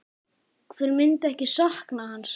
Hver myndi ekki sakna hans?